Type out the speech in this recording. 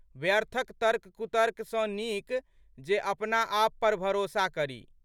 व्यर्थक तर्ककुतर्क सँ नीक जे अपना आप पर भरोसा करी।